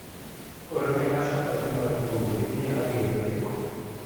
Orne Asha ote mar mbui ni abiro deko.